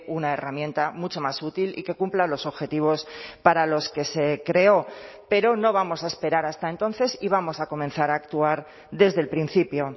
una herramienta mucho más útil y que cumpla los objetivos para los que se creó pero no vamos a esperar hasta entonces y vamos a comenzar a actuar desde el principio